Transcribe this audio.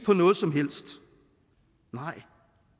på noget som helst nej